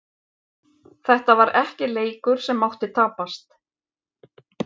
Þetta var ekki leikur sem mátti tapast.